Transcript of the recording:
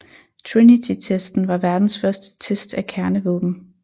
Trinitytesten var verdens første test af et kernevåben